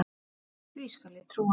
Því skal ég trúa